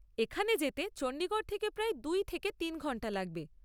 এখানে যেতে চণ্ডীগড় থেকে প্রায় দু থেকে তিন ঘন্টা লাগবে।